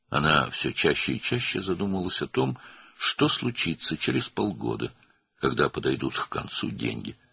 O, getdikcə daha çox altı aydan sonra nə olacağını, pullar tükəndikdə nələr baş verəcəyini düşünürdü.